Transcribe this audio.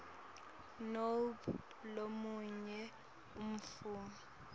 nobe lomunye umuntfu